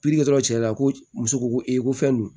dɔrɔn cɛya ko muso ko ko fɛn don